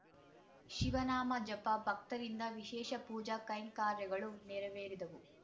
ಶಿವನಾಮ ಜಪ ಭಕ್ತರಿಂದ ವಿಶೇಷ ಪೂಜಾ ಕೈಂಕರ್ಯಗಳು ನೆರವೇರಿದವು